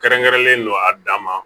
Kɛrɛnkɛrɛnlen do a dan ma